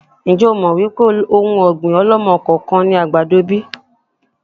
Ń jẹ́ ó mọ wípé òun ọ̀gbín ọ̀lọ́mọ-kọọ-kan ni àgbàdo bíi?